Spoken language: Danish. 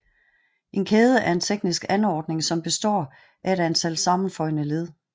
En kæde er en teknisk anordning som består af et antal sammenføjne led